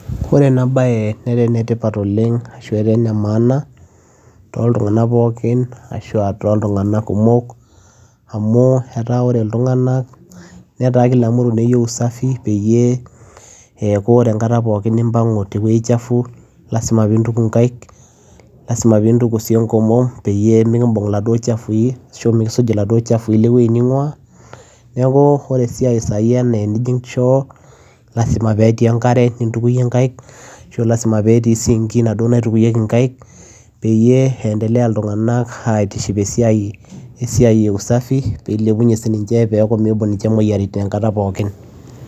Oree enaa bayee netaa ene tipat oleng too ilntunganak pookin amuu etaa oree ilntunganak netaa keyieu usafi pee ekuu oree enkataa poookin nimbangu te wuejii chafuu lazima peyiee intukuu nkaik enkomom peyiee mikimbung iladuo chafui neekuu oree choo lazima etii enkare ashua sink peyiee ilepuu usafii